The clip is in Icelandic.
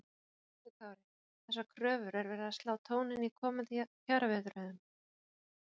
Höskuldur Kári: Þessar kröfur er verið að slá tóninn í komandi kjaraviðræðum?